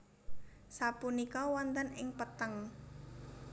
Sapunika wonten ing petheng